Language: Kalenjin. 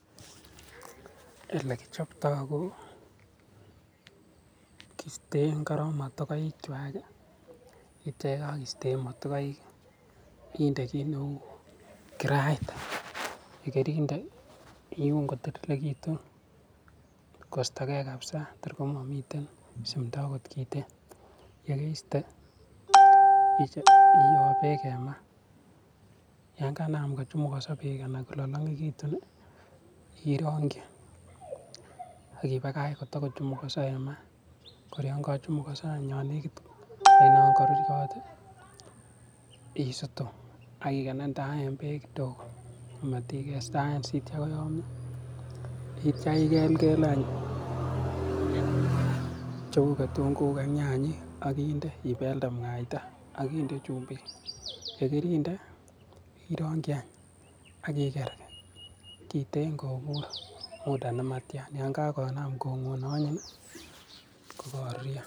There is a background noise.